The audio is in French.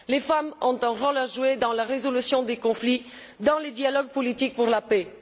Les femmes ont un rôle à jouer dans la résolution des conflits, dans les dialogues politiques pour la paix.